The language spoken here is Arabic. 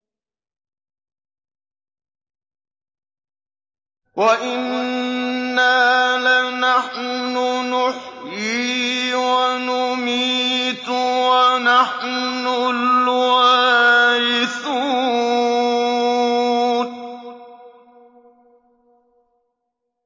وَإِنَّا لَنَحْنُ نُحْيِي وَنُمِيتُ وَنَحْنُ الْوَارِثُونَ